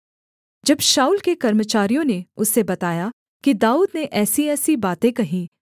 जब शाऊल के कर्मचारियों ने उसे बताया कि दाऊद ने ऐसीऐसी बातें कहीं